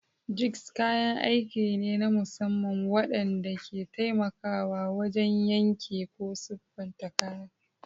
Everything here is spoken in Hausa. Jigs kayan aiki ne na musamman waɗanda ke taimakawa wajen yanke ko siffata kayan.